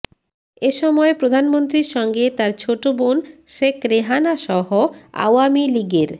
এ সময় প্রধানমন্ত্রীর সঙ্গে তার ছোট বোন শেখ রেহানাসহ আওয়ামী লীগের